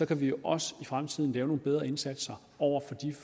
kan vi også i fremtiden gøre en bedre indsats over for